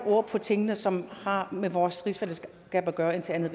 ord på tingene som har med vores rigsfællesskab at gøre indtil andet